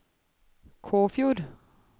Kåfjord